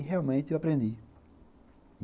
E, realmente, eu aprendi.